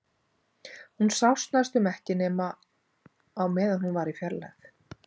Hún sást næstum ekki nema á meðan hún var í fjarlægð.